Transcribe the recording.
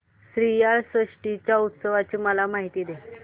श्रीयाळ षष्टी च्या उत्सवाची मला माहिती दे